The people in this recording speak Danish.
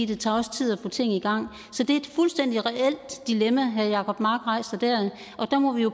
det tager også tid at få ting i gang så det er et fuldstændig reelt dilemma herre jacob mark rejser der og der må vi jo